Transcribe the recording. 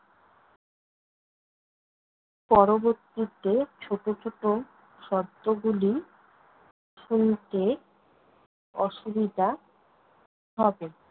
পরবর্তীতে ছোট ছোট শব্দগুলি শুনতে অসুবিধা হবে।